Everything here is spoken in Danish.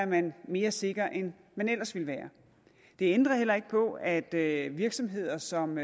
man mere sikker end man ellers ville være det ændrer heller ikke på at virksomheder som